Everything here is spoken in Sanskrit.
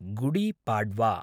गुडीपाड्वा